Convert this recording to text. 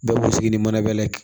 Bɛɛ b'u sigi ni manabɛlɛ ye